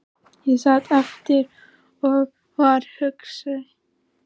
Ég sat eftir og var hugsi.